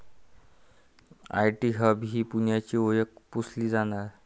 IT hub ही पुण्याची ओळख पुसली जाणार?